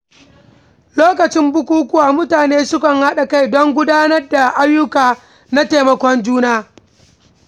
Lokacin bukukuwa, mutane sukan haɗa kai don gudanar da ayyuka na taimakon juna.